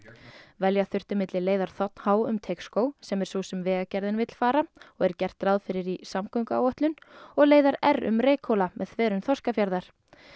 velja þurfti milli leiðar þ h um Teigsskóg sem er sú sem Vegagerðin vill fara og gert er ráð fyrir í samgönguáætlun og leiðar r um Reykhóla með þverun Þorskafjarðar